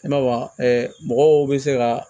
I b'a mɔgɔw bɛ se ka